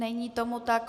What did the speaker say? Není tomu tak.